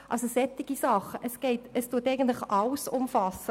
Diese Strategie umfasst eigentlich alles.